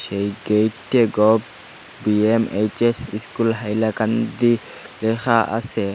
এই গেইটে gov V M H S school Hailakandi লেখা আছে।